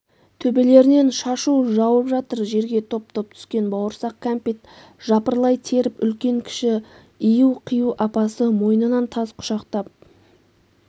төбелерінен шашу жауып жатыр жерге топ-топ түскен бауырсақ-кәмпитт жапырлай теріп үлкен-кіші ию-қию апасы мойнынан тас құшақтап